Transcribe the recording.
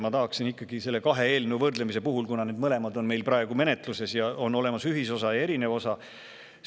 Ma tahaksin nende kahe eelnõu võrdlemise puhul, kuna mõlemad on meil praegu menetluses ja on olemas ühisosa ja erinev osa …